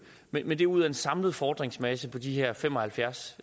men det er ud af en samlet fordringsmasse på de her fem og halvfjerds